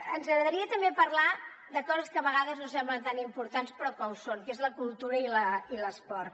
ens agradaria també parlar de coses que a vegades no semblen tan importants però que ho són que són la cultura i l’esport